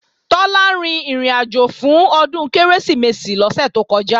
Tọ́lá rin ìrìnàjò fún Ọdún Kérésìmesì lọ́sẹ̀ tó kọjá